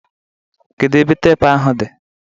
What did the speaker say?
Kedu ebe teepu ahụ dị